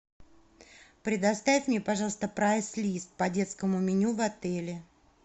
предоставь мне пожалуйста прайс лист по детскому меню в отеле